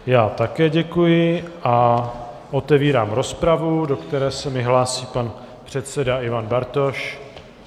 Já také děkuji a otevírám rozpravu, do které se mi hlásí pan předseda Ivan Bartoš.